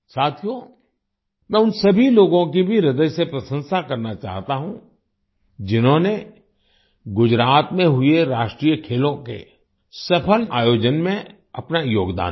साथियो मैं उन सभी लोगों की भी ह्रदय से प्रशंसा करना चाहता हूँ जिन्होंने गुजरात में हुए राष्ट्रीय खेलों के सफल आयोजन में अपना योगदान दिया